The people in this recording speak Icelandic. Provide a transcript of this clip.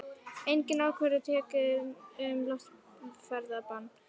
Engin ákvörðun tekin um loftferðabann